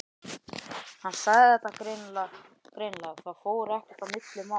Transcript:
Hann sagði þetta greinilega, það fór ekkert á milli mála.